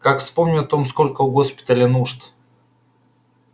как вспомню о том сколько у госпиталя нужд